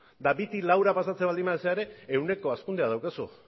eta bitik laura pasatzen baldin bazara ere ehuneko ehun hazkundea daukazu